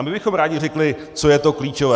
A my bychom rádi řekli, co je to klíčové.